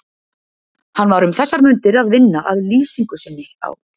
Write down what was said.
Hann var um þessar mundir að vinna að lýsingu sinni á